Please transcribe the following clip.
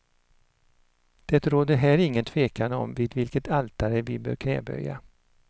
Det råder här ingen tvekan om vid vilket altare vi bör knäböja.